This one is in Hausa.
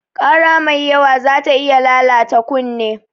Ƙara mai yawa zata iya lalata kunne.